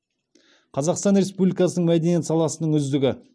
қазақстан республикасы мәдениет саласының үздігі